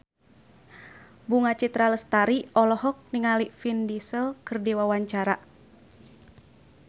Bunga Citra Lestari olohok ningali Vin Diesel keur diwawancara